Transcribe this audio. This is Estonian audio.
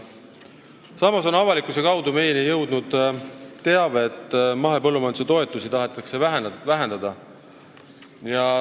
Samas on avalikkuse kaudu jõudnud meieni teave, et mahepõllumajanduse toetusi tahetakse vähendada.